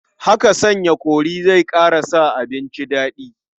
Haka sanya kori zai ƙara sa abinci daɗi.